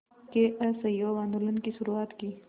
के असहयोग आंदोलन की शुरुआत की